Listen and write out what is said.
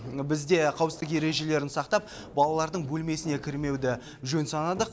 біз де қауіпсіздік ережелерін сақтап балалардың бөлмесіне кірмеуді жөн санадық